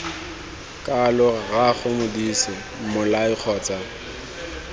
kalo rraago modise mmolai kgotsa